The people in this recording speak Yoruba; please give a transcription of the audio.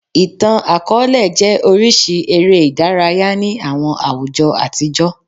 Ìtàn-akọọlẹ jẹ́ orísìí eré ìdárayá ní àwọn àwùjọ àtijọ́